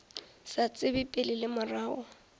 sa tsebe pele le morago